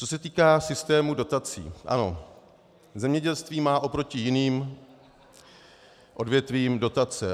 Co se týká systému dotací, ano, zemědělství má oproti jiným odvětvím dotace.